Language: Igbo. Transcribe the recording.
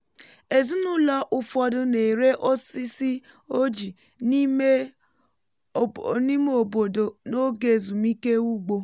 ezinụlọ ụfọdụ na-ere osisi ojii n’ime obodo n’oge ezumike ugbo